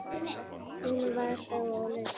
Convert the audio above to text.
Hún var þá á lausu!